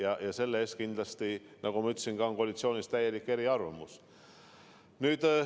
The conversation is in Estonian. Aga selles osas kindlasti, nagu ma ütlesin, on koalitsioonis eri arvamused.